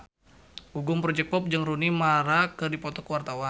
Gugum Project Pop jeung Rooney Mara keur dipoto ku wartawan